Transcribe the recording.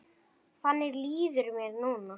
Þannig líður mér núna.